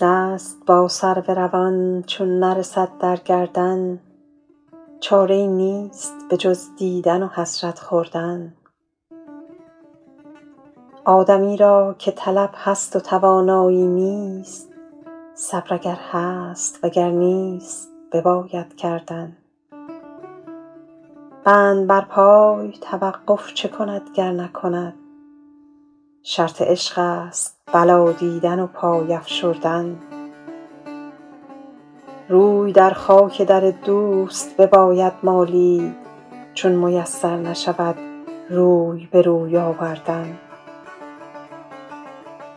دست با سرو روان چون نرسد در گردن چاره ای نیست به جز دیدن و حسرت خوردن آدمی را که طلب هست و توانایی نیست صبر اگر هست و گر نیست بباید کردن بند بر پای توقف چه کند گر نکند شرط عشق است بلا دیدن و پای افشردن روی در خاک در دوست بباید مالید چون میسر نشود روی به روی آوردن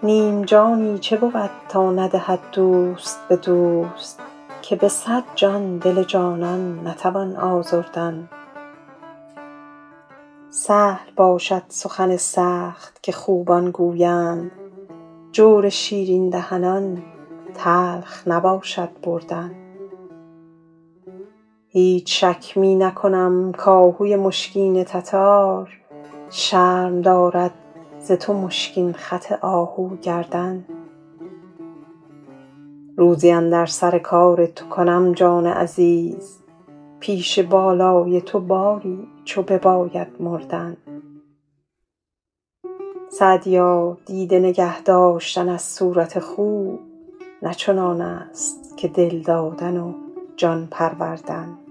نیم جانی چه بود تا ندهد دوست به دوست که به صد جان دل جانان نتوان آزردن سهل باشد سخن سخت که خوبان گویند جور شیرین دهنان تلخ نباشد بردن هیچ شک می نکنم کآهوی مشکین تتار شرم دارد ز تو مشکین خط آهو گردن روزی اندر سر کار تو کنم جان عزیز پیش بالای تو باری چو بباید مردن سعدیا دیده نگه داشتن از صورت خوب نه چنان است که دل دادن و جان پروردن